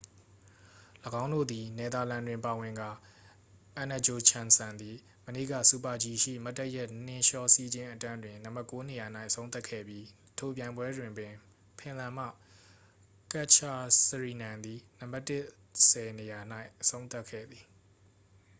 ၎င်းတို့သည် နယ်သာလန် တွင်ပါဝင်ကာ အန်နဂျိုချမ်စန် သည် မနေ့က super-g ရှိ မတ်တပ်ရပ်နှင်းလျှောစီးခြင်းအတန်းတွင် နံပါတ်ကိုးနေရာ၌ အဆုံးသတ်ခဲ့ပြီး ထိုပြိုင်ပွဲတွင်ပင် ဖင်လန် မှ ကတ်ဂျစရီနန် သည် နံပါတ်တစ်ဆယ်နေရာ၌ အဆုံးသတ်ခဲ့ပါသည်